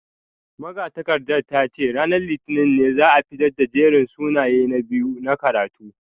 Magatakardar ta ce ranar litinin ne za a fitar da jerin sunayen na biyu na karatu